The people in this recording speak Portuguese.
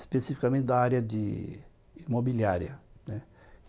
especificamente da área de imobiliária, né.